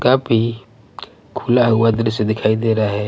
काफी खुला हुआ दृश्य दिखाई दे रहा है.